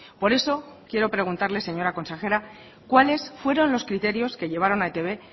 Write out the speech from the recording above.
por eso quiero preguntarle señora consejera cuáles fueron los criterios que llevaron a etb